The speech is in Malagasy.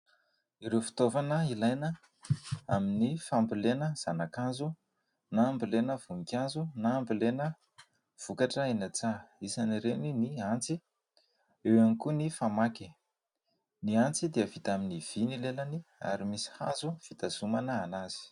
Ireo fitaovana ilaina amin' ny fambolena zana-kazo na ambolena voninkazo na ambolena vokatra eny an-tsaha. Isany ireny : ny antsy, eo ihany koa ny famaky. Ny antsy dia vita amin' ny vy ny lelany ary misy hazo fitazomana azy.